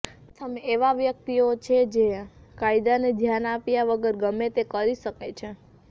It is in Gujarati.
પ્રથમ એવા વ્યક્તિઓ છે જે કાયદાને ધ્યાન આપ્યા વગર ગમે તે કરી શકે છે